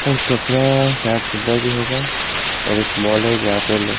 भी होगा और एक मॉल है जहां पे--